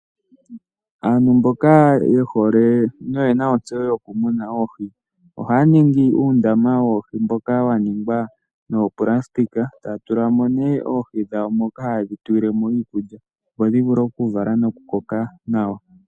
Aantu mboka ye hole noye na ontseyo yokumuna oohi, ohaya ningi uundama woohi mboka wa ningwa noopulasitika, taya tula mo nduno oohi dhawo moka haye dhi tulile mo iikulya, opo dhi vule okuvala nokukoka nawa.